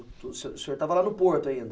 O senhor senhor estava lá no Porto ainda.